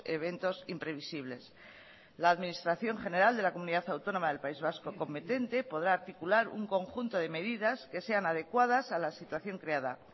eventos imprevisibles la administración general de la comunidad autónoma del país vasco competente podrá articular un conjunto de medidas que sean adecuadas a la situación creada